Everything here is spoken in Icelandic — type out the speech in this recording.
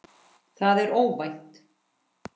Það er óvænt.